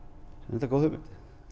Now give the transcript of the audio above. reyndar góð hugmynd